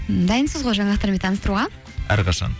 дайынсыз ғой жаңалықтармен таныстыруға әрқашан